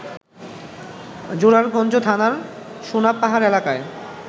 জোরারগঞ্জ থানার সোনাপাহাড় এলাকায়